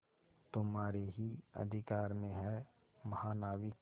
तुम्हारे ही अधिकार में है महानाविक